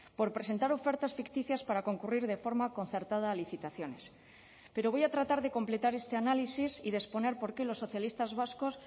por presentar ofertas ficticias para concurrir de forma concertada a licitaciones pero voy a tratar de completar este análisis y de exponer por qué los socialistas vascos